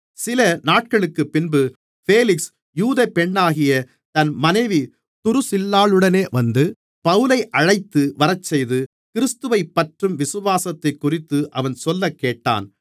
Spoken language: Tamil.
சில நாட்களுக்குப்பின்பு பேலிக்ஸ் யூதப் பெண்ணாகிய தன் மனைவி துருசில்லாளுடனே வந்து பவுலை அழைத்து வரச்செய்து கிறிஸ்துவைப்பற்றும் விசுவாசத்தைக்குறித்து அவன் சொல்லக்கேட்டான்